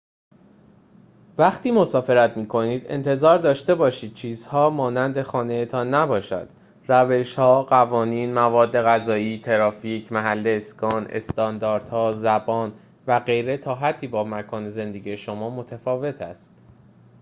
وقتی مسافرت می‌کنید انتظار داشته باشید چیزها مانند خانه‌تان نباشد روش‌ها قوانین مواد غذایی ترافیک محل اسکان استانداردها زبان و غیره تا حدی با مکان زندگی شما متفاوت است